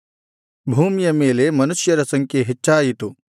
ಭೂಮಿಯ ಮೇಲೆ ಮನುಷ್ಯರ ಸಂಖ್ಯೆ ಹೆಚ್ಚಾಯಿತು ಇವರಿಗೆ ಹುಟ್ಟಿದ ಹೆಣ್ಣುಮಕ್ಕಳು